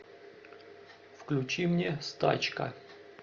включи мне стачка